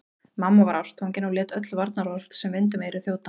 Mamma var ástfangin og lét öll varnaðarorð sem vind um eyru þjóta.